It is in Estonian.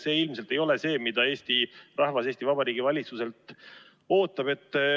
See ilmselt ei ole see, mida Eesti rahvas Eesti Vabariigi valitsuselt ootab.